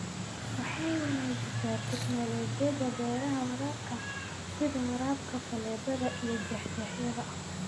Waxay wanaajisaa tignoolajiyada beeraha waraabka, sida waraabka faleebada iyo jeexjeexyada.